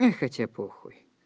ну и хотя похуй